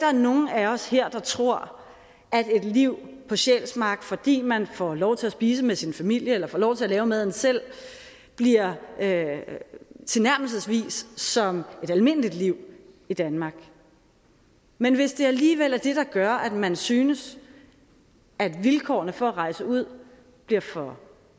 er nogen af os her der tror at et liv på sjælsmark fordi man får lov til at spise med sin familie eller får lov til at lave maden selv bliver tilnærmelsesvis som et almindeligt liv i danmark men hvis det alligevel er det der gør at man synes at vilkårene for at rejse ud bliver for